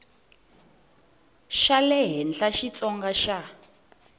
xa le henhla xitsonga xa